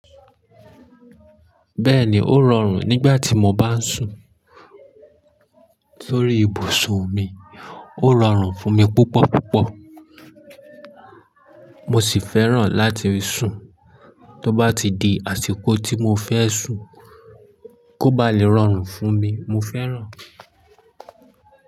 Bẹ́ẹ̀ni, ó rọrùn nígbà tí mo bá ń sùn sórí ibùsùn mi, ó rọrùn fún mi púpọ̀ púpọ̀. Mo sì fẹ́ràn láti sùn. Tó bá ti di àsìkò tí mo fẹ́ sùn, kó ba lè rọrùn fún mi, mo fẹ́ràn.